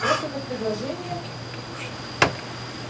просто как предположение